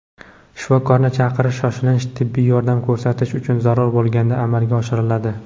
Shifokorni chaqirish shoshilinch tibbiy yordam ko‘rsatish uchun zarur bo‘lganda amalga oshiriladi.